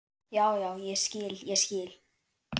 Já, já, ég skil, ég skil.